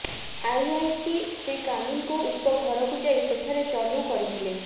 IIC Shri Kanungo ଉକ୍ତ ଘରକୁ ଯାଇ ସେଠାରେ ଚଢ଼ଉ କରିଥିଲେ